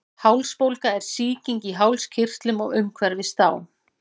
Hálsbólga er sýking í hálskirtlum og umhverfis þá.